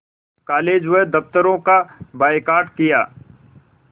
college व दफ़्तरों का बायकॉट किया